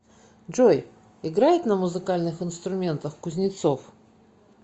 джой играет на музыкальных инструментах кузнецов